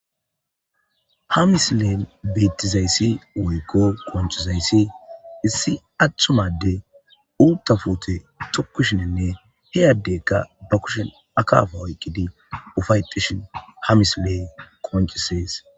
ha misileen beettizayssi woykko koncizayssi issi aththumadde uutafute tukushinenne heyaddekka ba kushin akafa oyqqidi ufayetishin ha misilee koncisees